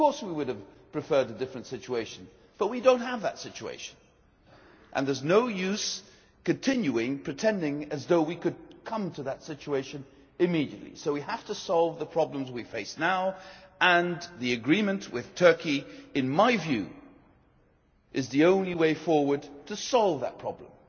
Of course we would have preferred a different situation, but we do not have that situation. And there is no use continuing, pretending as though we could bring it about immediately, so we have to solve the problems we face now, and the agreement with Turkey in my view is the only way forward to solve that problem.